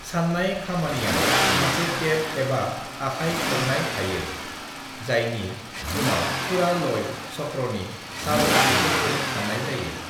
"सान्नाय खामानियाव मोनसे टेप एबा आखाइ खबनाय थायो, जायनि उनाव फुरा लय चक्रनि साब-बीटफोरखौ सान्नाय जायो ।"